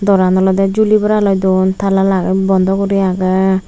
doran olede juli bora loi don tala lage bondo guri agee.